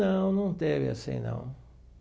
Não, não teve assim, não.